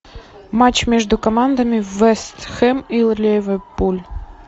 матч между командами вест хэм и ливерпуль